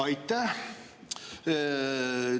Aitäh!